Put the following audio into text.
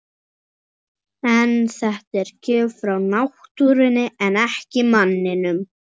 En þetta er gjöf frá náttúrunni en ekki manninum.